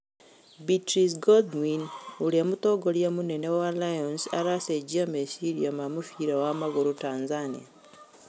Beatrice Godwin: Ũrĩa mũtongoria mũnene wa Lions aracenjia meciria ma mũbira wa magũrũ Tanzania.